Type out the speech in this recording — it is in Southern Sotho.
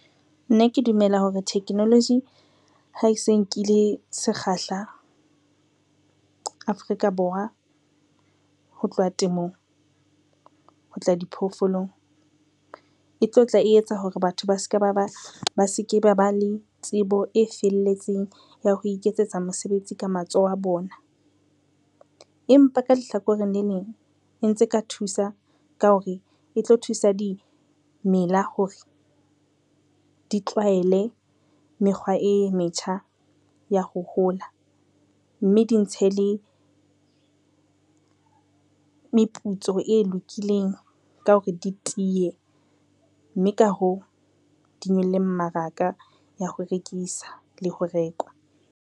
Nna ke dumela hore technology ha ke se nkile sekgahla, Afrika Borwa ho tlowa temong, ho tla diphoofolong e tlo tla e etsa hore batho ba se ke ba ba le tsebo e felletseng ya ho iketsetsa mosebetsi ka matsoho a bona. Empa ka lehlakoreng le leng, e ntse e ka thusa ka hore e tlo thusa dimela hore di tlwaele mekgwa e metjha ya ho hola, mme di ntshe le meputso e lokileng ka hore di tiye mme ka hoo, di nyolle mmaraka ya ho rekisa le ho rekwa.